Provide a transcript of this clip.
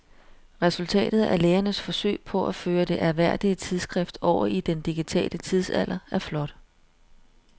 Resultatet af lægernes forsøg på at føre det ærværdige tidsskrift over i den digitale tidsalder er flot.